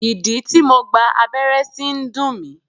Ìdí tí mo gba abẹ́rẹ́ sí ń dùn mí.